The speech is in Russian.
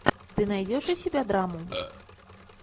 ты найдешь у себя драму